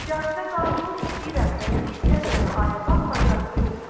Cazibə qanunun istəyirəm və ya istəmirəmi ayırmaq bacarığı yoxdur.